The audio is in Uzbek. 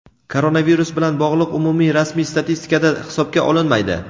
koronavirus bilan bog‘liq umumiy rasmiy statistikada hisobga olinmaydi.